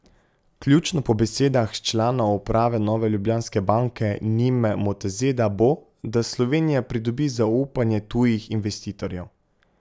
Ključno po besedah člana uprave Nove Ljubljanske banke Nime Motazeda bo, da Slovenija pridobi zaupanje tujih investitorjev.